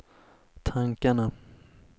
tankarna